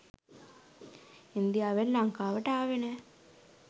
ඉන්දියාවෙන් ලංකාවට ආවේ නෑ.